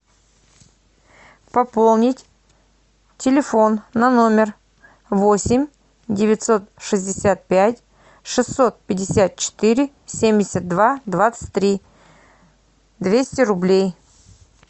пополнить телефон на номер восемь девятьсот шестьдесят пять шестьсот пятьдесят четыре семьдесят два двадцать три двести рублей